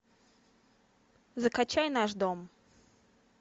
закачай наш дом